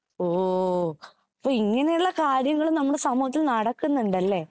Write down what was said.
ഓ അപ്പൊ ഇങ്ങനെയുള്ള കാര്യങ്ങള് നമ്മുടെ സമൂഹത്തിൽ നടക്കുന്നുണ്ടല്ലേ